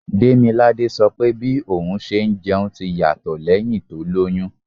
Demilade sọ pé bí òun ṣe ń jẹun ti yàtọ̀ lẹ́hìn tó lóyún.